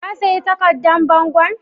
Ka sayi takardan bangon?